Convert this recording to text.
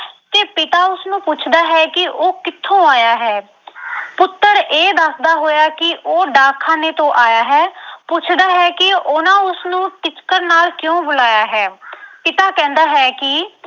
ਪਿਤਾ ਉਸਨੂੰ ਪੁੱਛਦਾ ਹੈ ਕਿ ਉਹ ਕਿੱਥੋਂ ਆਇਆ ਹੈ ਪੁੱਤਰ ਇਹ ਦੱਸਦਾ ਹੋਇਆ ਕਿ ਉਹ ਡਾਕਖਾਨੇ ਤੋਂ ਆਇਆ ਹੈ, ਪੁੱਛਦਾ ਹੈ ਕਿ ਉਹਨਾਂ ਉਸਨੂੰ ਟਿਚਕਰ ਨਾਲ ਕਿਉਂ ਬੁਲਾਇਆ ਹੈ ਪਿਤਾ ਕਹਿੰਦਾ ਹੈ ਕਿ